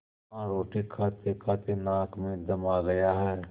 हाँ रोटी खातेखाते नाक में दम आ गया है